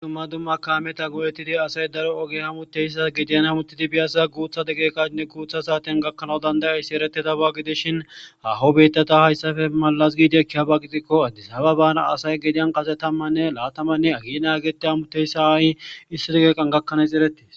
Dumma dumma kaameta go7ettidi asay daro oge hamuteyssa gediyan hamuttidi biyasza guutha degeeqanne guutha saaten gakkanawu dandayayssi ereti daba gidishin haho betata hayssafe malas giidiekkihaba gidikko addisaba bana asay gediyan kase tammanne laatamanne agi nagete hamuteyssa aahi issi degeeqan gakkanaays erettiis